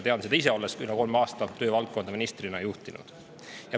Tean seda ise, olles üle kolme aasta töövaldkonda ministrina juhtinud.